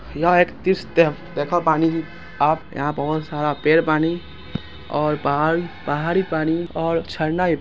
यहाँ एक तीस तेखा पानी आप यहाँ बहुत सारा पेड़ पानी और पहाड़ पहाड़ी पानी झरना --